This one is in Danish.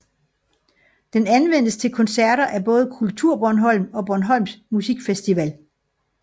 Den anvendes til koncerter af både KulturBornholm og Bornholms Musikfestival